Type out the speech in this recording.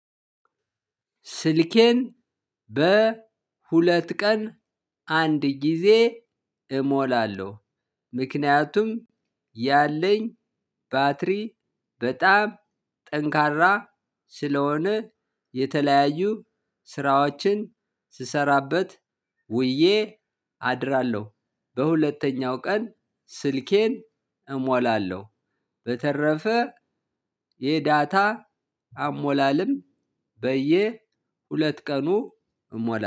ስልኬን በሁለት ቀን አንድ ጊዜ እሞላለሁ። ምክንያቱም ያለኝ ባትሪ በጣም ጠንካራ ስለሆነ የተለያዩ ስራዎችን ስሰራበት ውዬ አድራለሁ። በሁለተኛው ቀን ስልኬን እሞላለሁ። በተረፈ የዳታ አሞላለም በየሁለት ቀኑ እሞላለው።